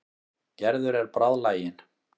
Gerður er bráðlagin.